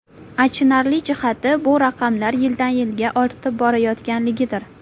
Achinarli jihati bu raqamlar yildan-yilga ortib borayotganligidir.